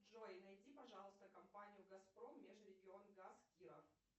джой найди пожалуйста компанию газпром межрегион газ киров